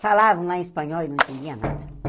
Falavam lá em espanhol e eu não entendia nada.